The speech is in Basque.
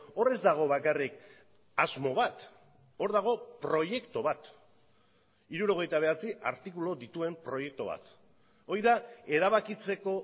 hor ez dago bakarrik asmo bat hor dago proiektu bat hirurogeita bederatzi artikulu dituen proiektu bat hori da erabakitzeko